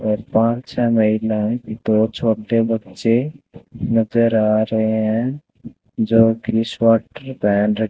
और पांच छ महिलाए दो छोटे बच्चे नजर आ रहे हैं जो की स्वेटर पहन रखे--